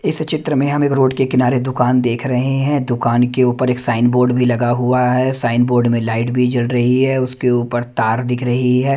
इस चित्र में हम एक रोड के किनारे दुकान देख रहे हैं दुकान के ऊपर एक साइन बोर्ड भी लगा हुआ है साइन बोर्ड में लाइट भी जल रही है उसके ऊपर तार दिख रही है।